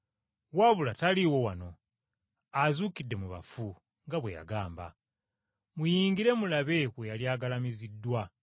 wabula taliiwo wano! Azuukidde mu bafu, nga bwe yagamba. Muyingire mulabe we yali agalamiziddwa.